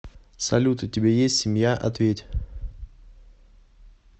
салют у тебя есть семья ответь